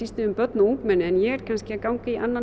börn og ungmenni en ég er kannski að ganga í annan